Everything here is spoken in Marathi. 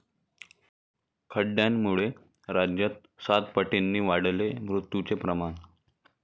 खड्ड्यांमुळे राज्यात सातपटींनी वाढले मृत्यूचे प्रमाण